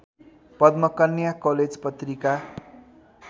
Padmakanya college Patrika